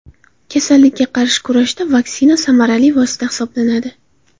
Kasallikka qarshi kurashda vaksina samarali vosita hisoblanadi.